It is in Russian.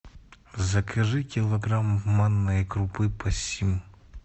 закажи килограмм манной крупы пассим